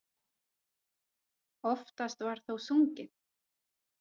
Oftast var þó sungið.